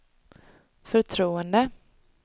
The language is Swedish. förtroende